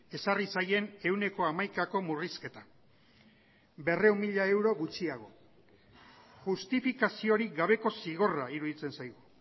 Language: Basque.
ezarri zaien ehuneko hamaikako murrizketa berrehun mila euro gutxiago justifikaziorik gabeko zigorra iruditzen zaigu